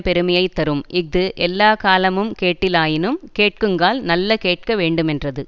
பெருமையை தரும் இஃது எல்லாக்காலமுங் கேட்டிலனாயினும் கேட்குங்கால் நல்ல கேட்க வேண்டுமென்றது